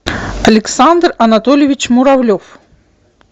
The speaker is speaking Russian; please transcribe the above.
александр анатольевич муравлев